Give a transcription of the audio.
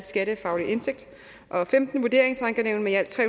skattefaglig indsigt og femten vurderingsankenævn med i alt tre